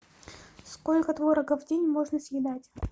сколько творога в день можно съедать